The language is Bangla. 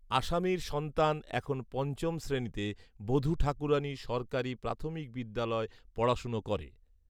আসামীর সন্তান এখন পঞ্চম শ্রেণিতে বধূঠাকুরানী সরকারী প্রাথমিক বিদ্যালয় পড়াশোনা করে